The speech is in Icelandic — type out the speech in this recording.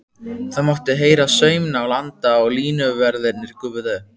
Það mátti heyra saumnál anda og línuverðirnir gufuðu upp.